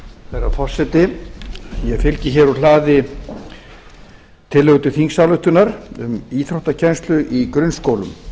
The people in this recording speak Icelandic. herra forseti ég fylgi hér úr hlaði tillögu til þingsályktun um íþróttakennslu í grunnskólum